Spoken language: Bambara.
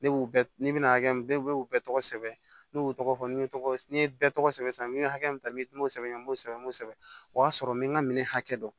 Ne b'u bɛna hakɛ min bɛɛ tɔgɔ sɛbɛn ne y'u tɔgɔ fɔ n ye tɔgɔ n ye bɛɛ tɔgɔ sɛbɛn n ye hakɛ min ta n bɛ n'o sɛbɛn n b'o sɛbɛn n b'o sɛbɛn o y'a sɔrɔ n bɛ n ka minɛn hakɛ dɔn